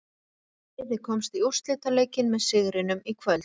Liðið komst í úrslitaleikinn með sigrinum í kvöld.